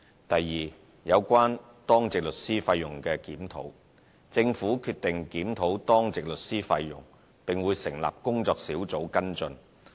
第二，有關當值律師費用檢討：政府決定檢討當值律師費用，並會成立工作小組跟進。